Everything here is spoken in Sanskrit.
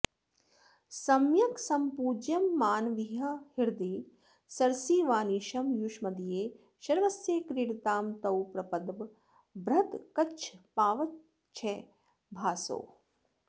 सम्यक्सम्पूज्यमानाविह हृदि सरसीवानिशं युष्मदीये शर्वस्य क्रीडतां तौ प्रपदवरबृहद्कच्छपावच्छभासौ